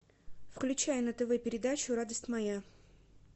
включай на тв передачу радость моя